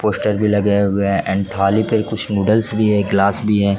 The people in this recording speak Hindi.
पोस्टर भी लगे हुए है एंड थाली पे कुछ नूडल्स भी है ग्लास भी हैं।